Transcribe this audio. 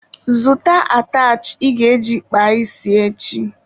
Zụta atachị ị ga-eji kpaa isi echi!